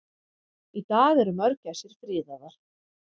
Í dag eru mörgæsir friðaðar.